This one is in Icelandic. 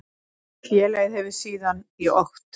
Félagið hefur síðan í okt